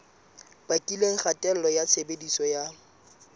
bakileng kgatello ya tshebediso ya